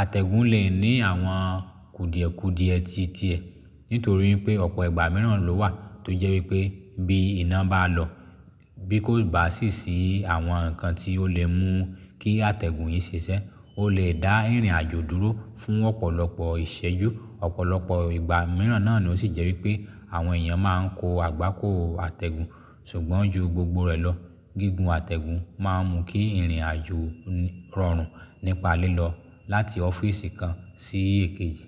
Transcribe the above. àtẹ̀gùn lè ní àwọn kùdìẹ̀kùdìẹ tuntun nítorí pé ọ̀pọ̀ ìgbà mìíràn ló wà tó jẹ́ wípé bí iná bá lọ, bí kò bá sì sí àwọn ǹkan tí ó lè mú kí àtẹ̀gùn yìí ṣiṣẹ́, ó lè dá ìrìn-àjò dúró fún ọ̀pọ̀lọpọ̀ ìṣẹ́jú. Ọ̀pọ̀lọpọ̀ ìgbà mìíràn náà ló sì jẹ́ wípé àwọn èèyàn máa ń ko àgbákòò àtẹ̀gùn ṣùgbọ́n ju gbogbo rẹ̀ lọ, gígùn àtẹ̀gùn máa ń mú kí ìrìn-àjò rọrùn nípa lílọ láti ọ́fíìsì kan sí èkéjì.